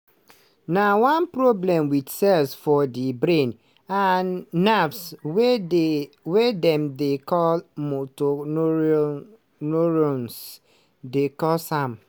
na one problem wit cells for di brain and nerves wey dey wey dem dey call motor neurone neurones dey cause am.